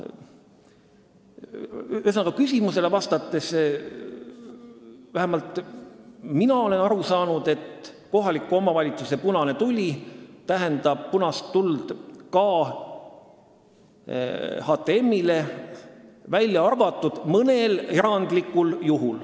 Ühesõnaga, küsimusele vastates ütlen, et vähemalt mina olen aru saanud nii, et kohaliku omavalitsuse punane tuli tähendab punast tuld ka HTM-ile, välja arvatud mõnel erandlikul juhul.